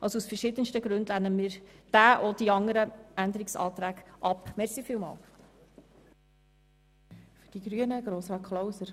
Somit lehnen wir diesen Eventualantrag und die anderen Anträge aus den verschiedensten Gründen ab.